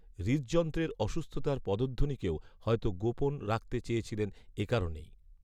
হৃদযন্ত্রের অসুস্থতার পদধ্বনিকেও হয়তো গোপন রাখতে চেয়েছিলেন এ কারণেই